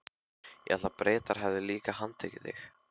Ég hélt að Bretar hefðu líka handtekið þig?